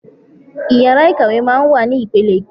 Ìyàrá Ikàwé máa ń wà ní ipele-ipele.